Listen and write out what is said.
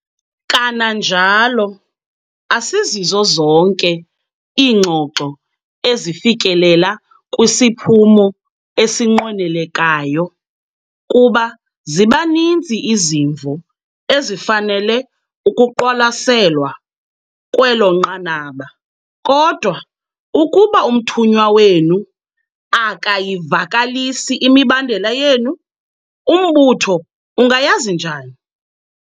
Kananjalo, asizizo zonke iingxoxo ezifikelela kwisiphumo esinqwenelekayo kuba ziba ninzi izimvo ezifanele ukuqwalaselwa kwelo nqanaba, kodwa, ukuba umthunywa wenu AKAYIVAKALISI IMIBANDELA YENU, umbutho ungayazi njani?